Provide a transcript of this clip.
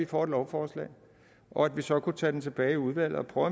får et lovforslag og at vi så kunne tage forslaget tilbage i udvalget og